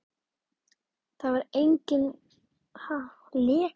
Það var eigin lega bara eins og að sjá guð.